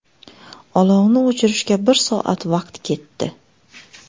Olovni o‘chirishga bir soat vaqt ketdi.